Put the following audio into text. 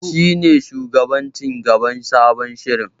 Shi ne shugaban ci gaban sabon shirin.